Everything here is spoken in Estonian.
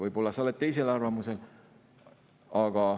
Võib‑olla sa oled teisel arvamusel.